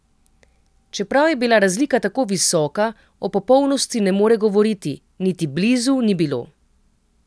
Čeprav je bila razlika tako visoka, o popolnosti ne more govoriti: "Niti blizu ni bilo.